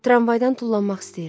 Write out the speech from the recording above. Tramvaydan tullanmaq istəyirəm.